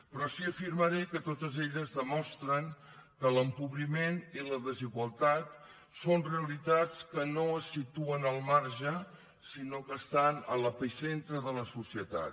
però sí que afirmaré que totes elles demostren que l’empobriment i la desigualtat són realitats que no es situen al marge sinó que estan a l’epicentre de la societat